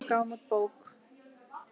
Við gáfum út bók.